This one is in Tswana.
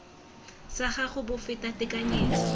sa gago bo feta tekanyetso